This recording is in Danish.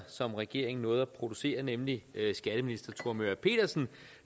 som regeringen nåede at producere nemlig skatteminister thor møger pedersen